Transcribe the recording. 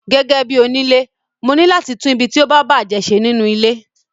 Gẹ́gẹ́bí onile, mo ní láti tún ibi tí ó bá bàjé ṣe nínú ilé.